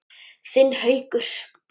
Þinn Haukur.